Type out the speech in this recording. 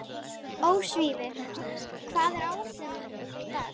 Ósvífur, hvað er á áætluninni minni í dag?